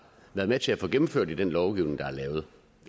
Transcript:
været med til at få gennemført i den lovgivning der er lavet